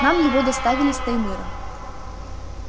нам его доставили с таймыра